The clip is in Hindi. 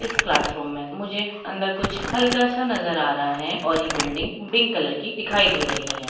इस क्लासरूम मे मुझे अंदर कुछ हल्का सा नजर आ रहा है और ये बिल्डिंग पिंक कलर की दिखाई दे रही है।